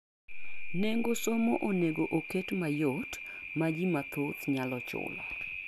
Nego somo onego oket mayot ma ji mathoth nyalo chulo.